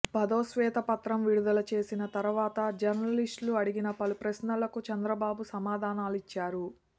పదో శ్వేతపత్రం విడుదల చేసిన తర్వాత జర్నలిస్టులు అడిగిన పలు ప్రశ్నలకు చంద్రబాబు సమాధానాలిచ్చారు